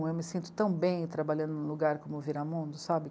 Eu me sinto tão bem trabalhando num lugar como o Viramundo, sabe?